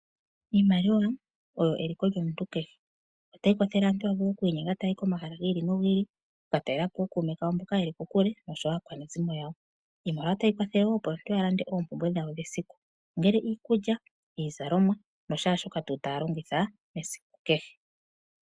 Iimaliwa oyo eliko lyomutu kehe. Otayi kwathele aantu y la vule okwiinyenga taya yi komahala gi li nogi li okutalela po ookuume koyo mboka ye li kokule oshowo aakwanezimo yawo. Iimaliwa otayi kwathele wo opo omuntu alande oopumbwe dhowo dhesiku ongele iikulya, iizalomwa noshaa shoka tuu taya longitha esiku kehe.